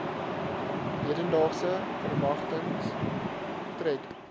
hedendaagse verwagtings tred